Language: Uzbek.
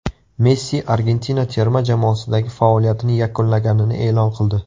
Messi Argentina terma jamoasidagi faoliyatini yakunlaganini e’lon qildi.